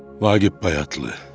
Vaqif Bayatlı.